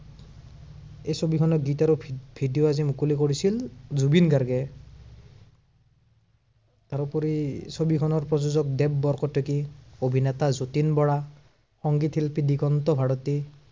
এই ছবিখনৰ গীত আৰু video আজি মুকলি কৰিছিল জুবিন গাৰ্গে। তাৰোপৰি ছবিখনৰ প্ৰযোজক দেৱ বৰকটকী। অভিনেতা যতীন বৰা। সংগীত শিল্পী দিগন্ত ভাৰতী।